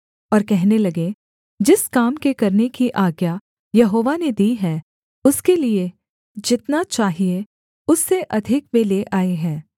और कहने लगे जिस काम के करने की आज्ञा यहोवा ने दी है उसके लिये जितना चाहिये उससे अधिक वे ले आए हैं